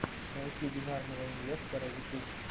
найти бинарного инвестора ютуб